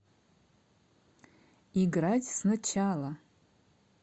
играть сначала